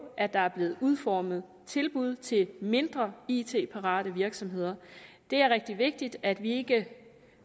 at der er blevet udformet tilbud til mindre it parate virksomheder det er rigtig vigtigt at vi ikke